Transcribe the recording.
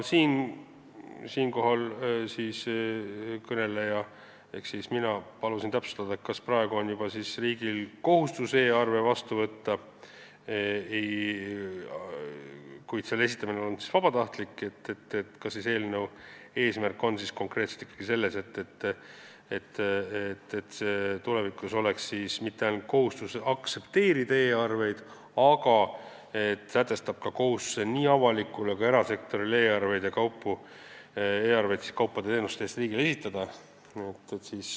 Siinkohal palusin mina täpsustada, et kui riigil on praegu juba kohustus e-arveid vastu võtta, kuid nende esitamine on olnud vabatahtlik, kas siis eelnõu eesmärk on konkreetselt ikkagi selles, et tulevikus oleks mitte ainult kohustus aktsepteerida e-arveid, vaid sätestatakse nii avalikule kui ka erasektorile kohustus esitada kaupade ja teenuste eest riigile e-arveid.